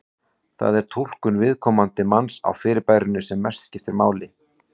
Það sé túlkun viðkomandi manns á fyrirbærinu sem mestu máli skipti.